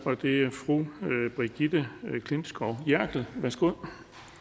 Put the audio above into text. og det er fru brigitte klintskov jerkel værsgo